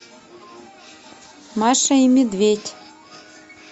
маша и медведь